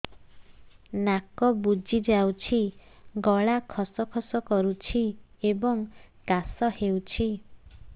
ନାକ ବୁଜି ଯାଉଛି ଗଳା ଖସ ଖସ କରୁଛି ଏବଂ କାଶ ହେଉଛି